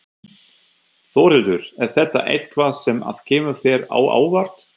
Þórhildur: Er þetta eitthvað sem að kemur þér á óvart?